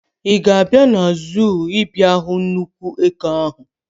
Ị ga-abịa na zuu ịbịa hụ nnukwu eke ahụ?